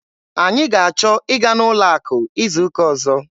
Anyị ga-achọ ịga n'ụlọ akụ izu ụka ọzọ.